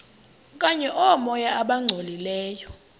okanye oomoya abangcolileyo